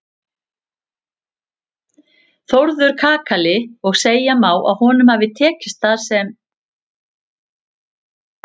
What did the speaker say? Þórður kakali og segja má að honum hafi tekist það sem